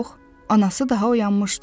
Yox, anası daha oyanmışdı.